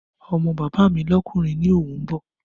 Ọmọ bàbá mi lọ́kùnrin ni òun bọ̀